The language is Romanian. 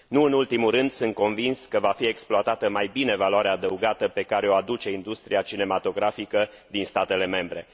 Nu în ultimul rând, sunt convins că va fi exploatată mai bine valoarea adăugată pe care o aduce industria cinematografică din statele membre.